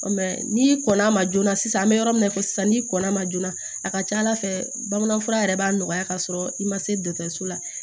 n'i kɔnn'a ma joona sisan an bɛ yɔrɔ min na ko sisan n'i kɔnna ma joona a ka ca ala fɛ bamanan fura yɛrɛ b'a nɔgɔya kasɔrɔ i ma se dɔgɔtɔrɔso la